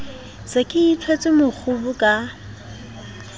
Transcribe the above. se ke itshwetse mokgubu ka